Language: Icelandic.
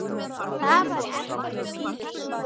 Það varð ekkert úr því.